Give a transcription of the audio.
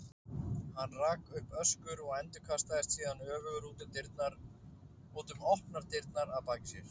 Hann rak upp öskur og endurkastaðist síðan öfugur út um opnar dyrnar að baki sér.